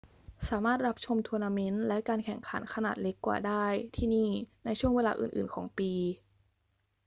สามารถรับชมทัวร์นาเมนต์และการแข่งขันขนาดเล็กกว่าได้ที่นี่ในช่วงเวลาอื่น ๆ ของปี